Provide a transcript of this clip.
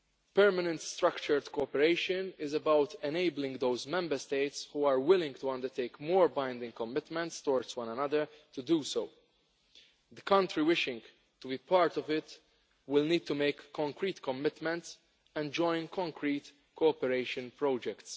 Permanent structured cooperation is about enabling those Member States who are willing to undertake more binding commitments towards one another to do so. Countries wishing to be part of it will need to make concrete commitments and join concrete cooperation projects.